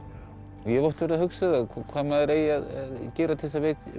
ég hef oft verið að hugsa það hvað maður eigi að gera til þess að